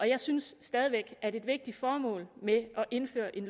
jeg synes stadig væk at et vigtigt formål med at indføre en